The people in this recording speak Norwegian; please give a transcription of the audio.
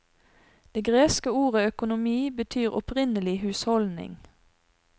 Det greske ordet økonomi betyr opprinnelig husholdning.